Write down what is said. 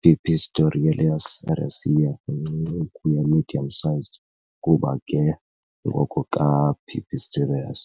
"Pipistrellus raceyi" incinci ukuya medium-sized kuba ke ngoko ka - "Pipistrellus".